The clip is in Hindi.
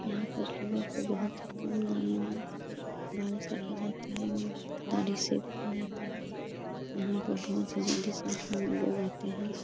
यहाँ पर लोगों को बहुत ही कम दामों में बाल काटा जाता है एवम दाढ़ी शेव किया जाता है । यहां पर बहुत ही ज्यादा मात्रा में लोग आते हैं ।